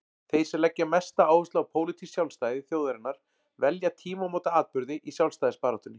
Þeir sem leggja mesta áherslu á pólitískt sjálfstæði þjóðarinnar velja tímamótaatburði í sjálfstæðisbaráttunni.